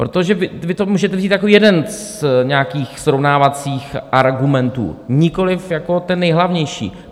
Protože vy to můžete vzít jako jeden z nějakých srovnávacích argumentů, nikoliv jako ten nejhlavnější.